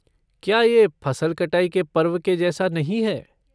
क्या यह फसल कटाई के पर्व के जैसा नहीं है?